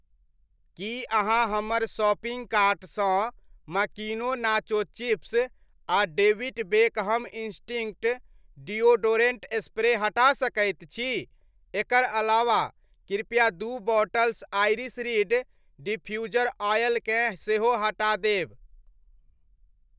की अहाँ हमर शॉपिंग कार्टसँ मकीनो नाचो चिप्स आ David Beckham Instinct deodorant spray हटा सकैत छी ? एकर अलावा, कृपया दू bottles iris reed diffuser oil केँ सेहो हटा देब।